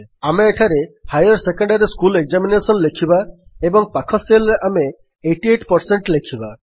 ଆମେ ଏଠାରେ higher secondary school examination ଲେଖିବା ଏବଂ ପାଖ Cellରେ ଆମେ 88 ପରସେଣ୍ଟ ଲେଖିବା